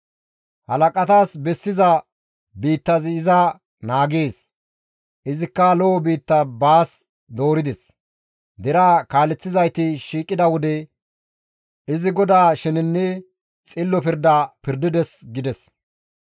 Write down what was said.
Halaqatas bessiza biittazi iza naagees; izikka lo7o biitta baas doorides; deraa kaaleththizayti shiiqida wode izi GODAA shenenne xillo pirda pirdides» gides.